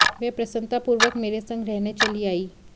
वह प्रसन्नता पूर्वक मेरे संग रहने चली आयी